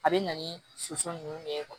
A bɛ na ni soso ninnu ye